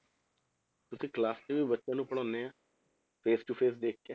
ਤੁਸੀਂ class 'ਚ ਵੀ ਬੱਚਿਆਂ ਨੂੰ ਪੜ੍ਹਾਉਂਦੇ ਆਂ face to face ਦੇਖਕੇ,